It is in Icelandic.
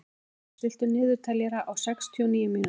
Gýmir, stilltu niðurteljara á sextíu og níu mínútur.